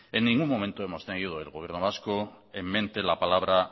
en ningún momento hemos tenido en el gobierno vasco en mente la palabra